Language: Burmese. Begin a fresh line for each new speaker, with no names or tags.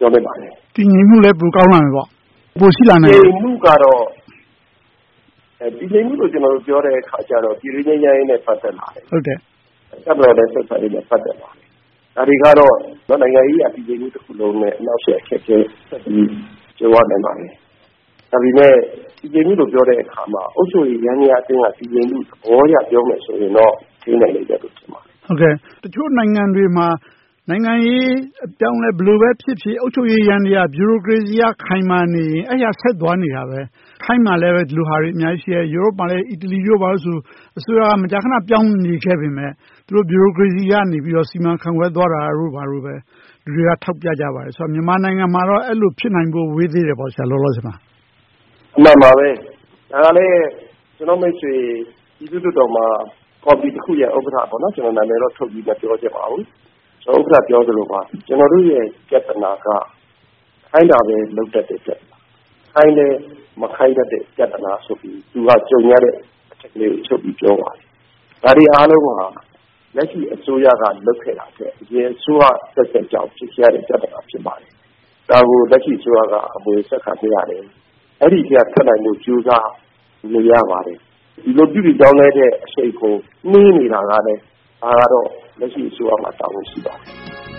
မျှော်လင့်ပါတယ်။
တည်ငြိမ်မှုလည်း ပိုကောင်းလာမယ်ပေါ့။
တည်ငြိမ်မှုကတော့ - တည်ငြိမ်မှုကို ပြောတဲ့အခါမှာတော့ ပြည်တွင်းငြိမ်းချမ်းရေးနဲ့ ပတ်သက်လာတယ်။ တပ်မတော် ဆက်ဆံရေးနဲ့ ပတ်သက်လာတယ်။ ဒါတွေကတော့ နိုင်ငံရေးအရ တည်ငြိမ်မှုတခုလုံးနဲ့ အနှောင့်အယှက် အခက်အခဲအရေး ကြုံရနိုင်ပါတယ်။ ဒါပေမဲ့ တည်ငြိမ်မှုလို့ ပြောတဲ့အခါမှာ အုပ်ချုပ်ရေးယန္တရားအတွင်းက တည်ငြိမ်မှုသဘောအရ ပြောမယ်ဆိုရင်တော့ ထိန်းနိုင်လိမ့်မယ်လို့ ထင်ပါတယ်။
တချို့နိုင်ငံတွေမှာ နိုင်ငံရေးအပြောင်းအလဲ ဘယ်လိုပဲဖြစ်ဖြစ် အုပ်ချုပ်ရေးယန္တရား၊ ဗျူရိုကရေစီအရ ခိုင်မာနေရင် အဲဒါဆက်သွားနေတယ်။ ထိုင်းမှာလဲ ဒီလိုဟာတွေ အများကြီးရှိတယ်။ ဥရောပမှာလည်း - အီတလီတို့ဘာတို့ဆိုရင် အစိုးရက မကြာခဏ ပြောင်းနေခဲ့ပေမယ့် သူတို့ ဗျူရိုကရေစီကနေ စီမံခန့်ခွဲသွားကြတယ်လို့ လူတွေက ထောက်ပြကြပါတယ်။ ဆိုတော့ မြန်မာနိုင်ငံမှာတော့ အဲဒီလို ဖြစ်နိုင်ဖို့ ဝေးသေးတယ်ပေါ့။ လောလောဆယ်မှာ…
အမှန်ပါပဲ။ ဒါကလဲ ကျနော့်မိတ်ဆွေ ပြည်သူ့လွှတ်တော်မှာ ပါတီတခုရဲ့ ဥက္ကဋ္ဌပေါ့။ နာမည်တော့ ထုတ်ဖော်မပြောချင်ပါဘူး။ ဥက္ကဋ္ဌ ပြောသလိုပါပဲ… ကျနော်တို့ရဲ့ ပြဿနာက ခိုင်းတာပဲ လုပ်တတ်တယ်။ ခိုင်းလည်း မခိုင်းတတ်တဲ့ ပြဿနာဆိုပြီး သူကြုံနေရတဲ့ ပြဿနာကိုချုပ်ပြီးပြောပါတယ်။ ဒါတွေအားလုံးက လက်ရှိအစိုးရရဲ့ လုပ်ခဲ့တာထက် အရင်အစိုးရအဆက်ဆက်ကြောင့် ကြုံရတဲ့ပြဿနာ ဖြစ်ပါတယ်။ ဒါကို လက်ရှိအစိုးရက အမွေးဆက်ခံခဲ့ရတယ်။ အဲဒီအထဲက ထွက်နိုင်ဖို့ ကြိုးစားနေရပါတယ်။ ဒီလိုပြုပြင်ပြောင်းလဲတဲ့ အရှိန်ကို နှေးနေတာကလဲ ဒါကတော့ လက်ရှိအစိုးရမှာ တာဝန်ရှိပါတယ်